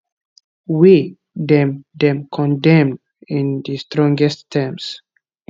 wey dem dem condemn in di strongest terms